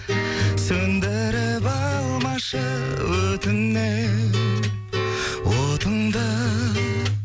сөндіріп алмашы өтінем отыңды